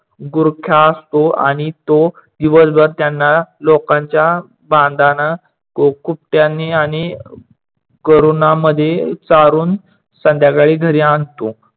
गुरख्या असतो आणि तो दिवसभर त्यांना लोकांच्या बांधानं कुट्टयानी आणि करोनामध्ये चारून संध्याकाळी घरी आणतो.